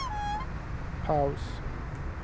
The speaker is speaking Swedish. paus